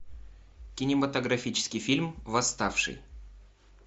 кинематографический фильм восставший